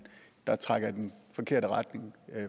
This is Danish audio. der trækker i den forkerte retning